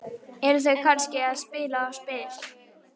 Eru þau kannski að spila á spil?